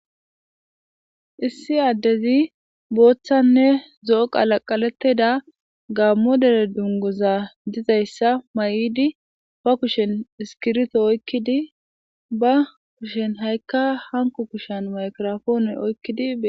Issi addezi booththanne zo'o qalaqalettida gaammo dere dunguza gizayssa mayidi ba kushen iskirito oykkidi ba kushan hankko kushan maygirapoone oykkidi